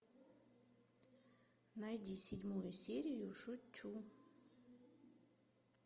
найди седьмую серию шучу